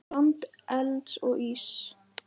Land elds og íss.